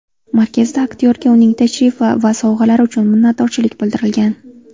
Markazda aktyorga uning tashrifi va sovg‘alari uchun minnatdorchilik bildirilgan.